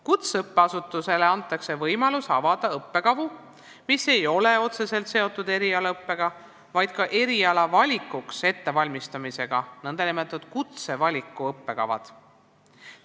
Kutseõppeasutusele antakse võimalus avada õppekavu, mis ei ole otseselt seotud erialaõppega, vaid ka erialavalikuks ettevalmistamisega, need on nn kutsevaliku õppekavad.